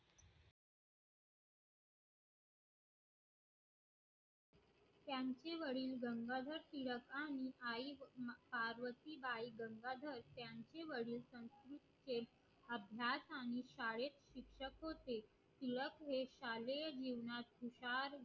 त्यांचे वडील गंगाधर टिळक आणि आई पार्वती बाई गंगाधर त्यांचे वडील अभ्यास आणि शाळेत शिक्षक होते शाळेय जीवनात हुशार